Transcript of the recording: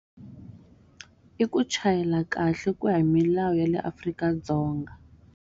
I ku chayela kahle ku ya hi milawu ya le Afrika-Dzonga.